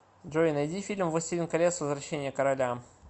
джой найди фильм властелин колец возвращение короля